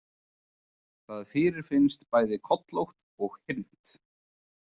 Það fyrirfinnst bæði kollótt og hyrnt.